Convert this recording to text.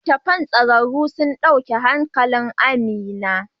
Littattafan tsararru sun dauki hankalin Amina.